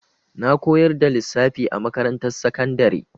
Na koyar da lissafi a makarantar sakandari.